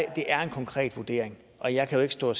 er en konkret vurdering og jeg kan jo ikke stå og